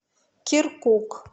киркук